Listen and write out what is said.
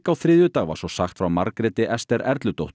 á þriðjudag var svo sagt frá Margréti Esther